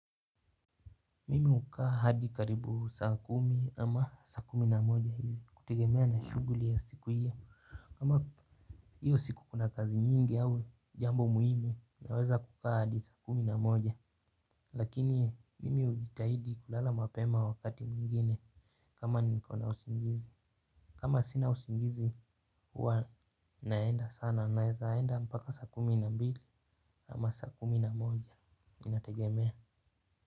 Mimi hukaa hadi karibu saa kumi ama saa kumi na moja hili kutigemea na shuguli ya siku hiyo. Kama hiyo siku kuna kazi nyingi au jambo muhimu naweza kukaa hadi saa kumi na moja. Lakini mimi ujitahidi kulala mapema wakati mwingine kama niko na usingizi. Kama sina usingizi huwa naenda sana nawezaenda mpaka saa kumi na mbili ama saa kumi na moja inategemea.